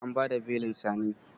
An bada belin Sani?